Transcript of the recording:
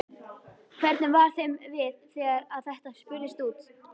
Hvernig var þeim við þegar að þetta spurðist út?